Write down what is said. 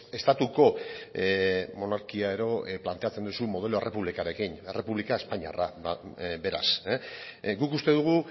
estatuko monarkia edo planteatzen duzu modelo errepublikarrekin errepublika espainiarra da beraz guk uste dugu